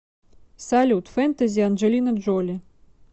салют фентези анджелина джоли